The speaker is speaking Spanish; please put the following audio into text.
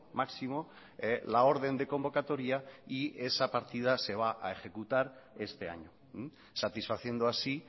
máximo la orden de convocatoria y esa partida se va a ejecutar este año satisfaciendo así